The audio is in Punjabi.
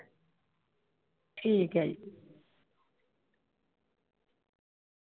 ਠੀਕ ਹੈ ਜੀ।